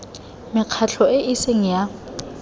mekgatlho e e seng ya